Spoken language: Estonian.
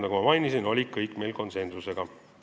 Nagu ma mainisin, tehti need ettepanekud meil kõik konsensusega.